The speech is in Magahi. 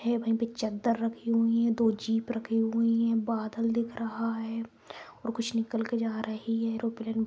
है वहीं पे चद्दर रखी हुई हैं दो जीप रखी हुई हैं बादल दिख रहा है और कुछ निकल के जा रही हैं ऐरोप्लेन --